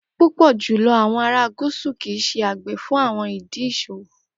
Pupọ julọ awọn ara Gusu kii ṣe agbe fun awọn idi iṣowo.